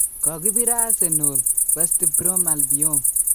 Kokibiir Asernal , West Brom Albion